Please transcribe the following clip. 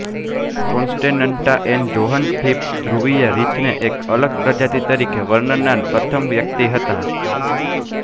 કોન્સ્ટેનન્ટાએન John Phipps ધ્રુવીય રીંછને એક અલગ પ્રજાતિ તરીકે વર્ણવનાર પ્રથમ વ્યક્તિ હતા